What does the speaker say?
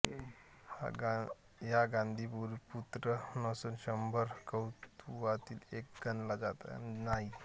हा गांधारीपुत्र नसून शंभर कौरवांतील एक गणला जात नाही